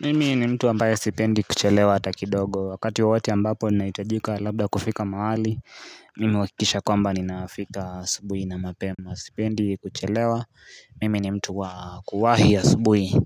Mimi ni mtu ambaye sipendi kuchelewa hata kidogo wakati wowote ambapo ni nahitajika labda kufika mahali mimi huhakikisha kwamba ni nafika asubuhi na mapema sipendi kuchelewa mimi ni mtu wakuwahi asubuhi